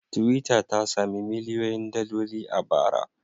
Twitter ta sami miliyoyin daloli a bara.